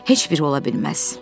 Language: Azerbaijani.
Heç biri ola bilməz.